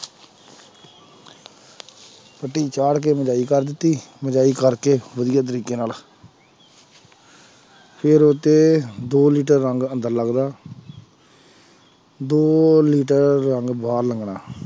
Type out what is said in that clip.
ਪੁੱਟੀ ਚਾੜ੍ਹ ਕੇ ਕਰ ਦਿੱਤੀ ਕਰਕੇ ਵਧੀਆ ਤਰੀਕੇ ਨਾਲ ਫਿਰ ਉਹ ਤੇ ਦੋ ਲੀਟਰ ਰੰਗ ਸਾਨੂੰ ਤਾਂ ਲੱਗਦਾ ਦੋ ਲੀਟਰ ਰੰਗ ਬਾਹਰ ਲੱਗਣਾ।